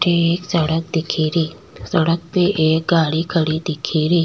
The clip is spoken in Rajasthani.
एक सड़क दीखेरी सड़क पे एक गाड़ी खड़ी दिखेरी।